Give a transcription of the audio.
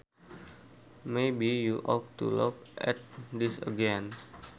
Maybe you ought to look at this again